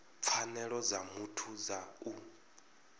pfanelo dza muthu dza u